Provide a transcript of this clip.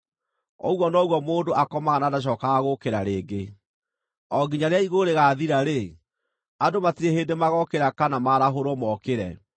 ũguo noguo mũndũ akomaga na ndacookaga gũũkĩra rĩngĩ; o nginya rĩrĩa igũrũ rĩgaathira-rĩ, andũ matirĩ hĩndĩ magookĩra kana maarahũrwo mookĩre.